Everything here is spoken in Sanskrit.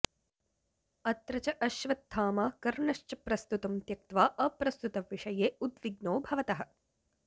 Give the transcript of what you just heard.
अत्र च अश्वत्थामा कर्ण्सश्च प्रस्तुतं त्यक्त्वा अप्रस्तुतविषये उद्विग्नौ भवतः